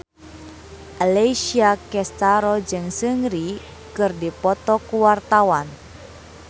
Alessia Cestaro jeung Seungri keur dipoto ku wartawan